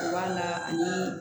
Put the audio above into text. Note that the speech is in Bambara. B'a la ani